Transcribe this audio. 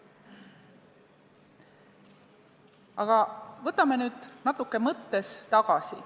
Aga läheme nüüd mõttes natuke tagasi.